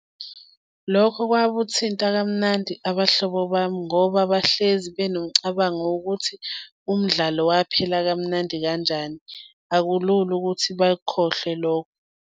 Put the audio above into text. Lokho kwakuthinta kamnandi abahlobo bami ngoba bahlezi benomcabango wokuthi umdlalo waphela kamnandi kanjani. Akulula ukuthi bakukhohlwe lokho.